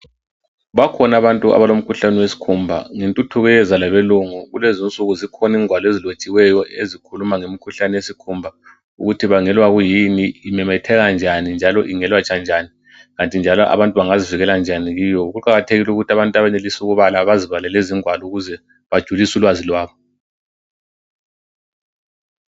Bakhona abantu abalomkhuhlane wesikhumba. Ngentuthuko eyeza labelungu, kulezinsuku zikhona ingwalo ezilotshiweyo ezikhuluma ngemkhuhlane yesikhumba ukuthi ibangelwa kuyini, imemetheka njani njalo ingelatshwa njani, kanti njalo abantu bangazivikela njani kiyo. Kuqakathekile ukuthi abantu abenelisa ukubala bazibalele izingwalo ukuze bajulise ulwazi lwabo.